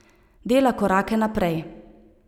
Dela korake naprej.